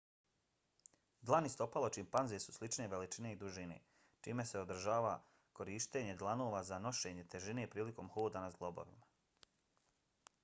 dlan i stopalo čimpanze su slične veličine i dužine čime se odražava korištenje dlanova za nošenje težine prilikom hoda na zglobovima